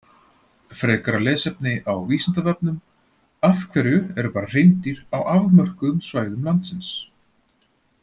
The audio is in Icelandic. Frekara lesefni á Vísindavefnum: Af hverju eru bara hreindýr á afmörkuðum svæðum landsins?